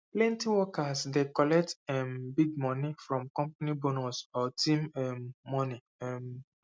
plenty workers dey collect um big moni from company bonus or team work um money um